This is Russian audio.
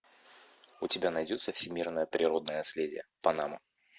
у тебя найдется всемирное природное наследие панама